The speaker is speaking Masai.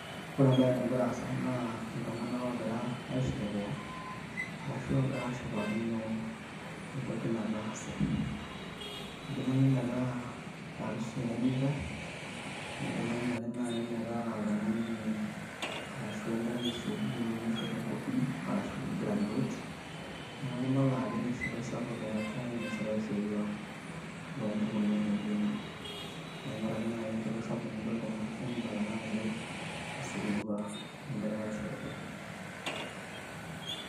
Ore ebae nagira aasa naa, iltung'anak ogira aisherekea, arashu ogira ashipakino entoki nataase. Idimayu metaa arusi eenitae, idimayu ake nai metaa oltung'ani arashu enkerai esukuul naishopo enkopiyia, arashu ai graduate, neeku ibala ajo inashipai sapuk eetae inasitai osirua lompukunot naijo nena. Neeku ore ake nai enchipai sapuk nidol tena pisha, nibala ake ajo, osirua egirai aisherekea.